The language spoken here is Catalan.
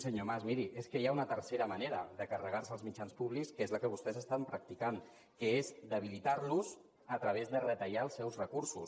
senyor mas miri és que hi ha una tercera manera de carregar se els mitjans públics que és la que vostès estan practicant que és debilitar los a través de retallar els seus recursos